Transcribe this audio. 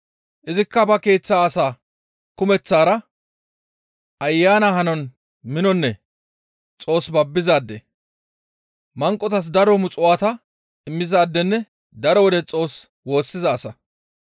Izikka ba keeththa asaa kumeththaara Ayana hanon minonne Xoos babbizaade; manqotaska daro muxuwaata immizaadenne daro wode Xoos woossiza asa.